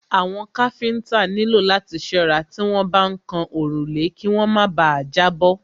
Àwọn káfíńńtà nílò láti ṣọ́ra tí wọ́n bá ń kan òrùlé kí wọ́n má bà à jábọ́.